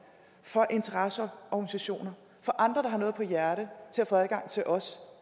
interesseorganisationer og andre der har noget på hjerte til at få adgang til os